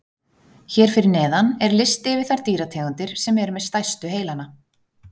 Hér fyrir neðan er listi yfir þær dýrategundir sem eru með stærstu heilana.